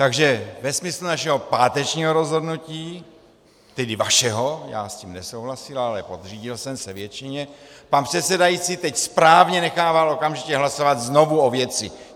Takže ve smyslu našeho pátečního rozhodnutí - tedy vašeho, já s tím nesouhlasil, ale podřídil jsem se většině - pan předsedající teď správně nechává okamžitě hlasovat znovu o věci.